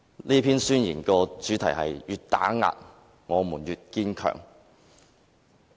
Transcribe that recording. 這篇宣言的主題是"越打壓，我們越堅強"。